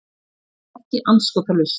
Það var ekki andskotalaust.